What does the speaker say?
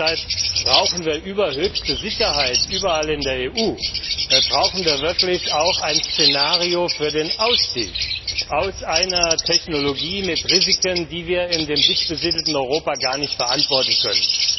Deshalb brauchen wir über höchste Sicherheitsstandards in der EU hinaus auch ein Szenario für den Ausstieg aus einer Technologie mit Risiken, die wir im dicht besiedelten Europa gar nicht verantworten können.